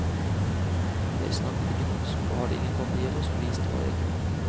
Jeg snakket ikke norsk og hadde ingen papirer som viste hva jeg kunne.